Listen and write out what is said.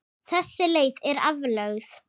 Þessi leið er aflögð.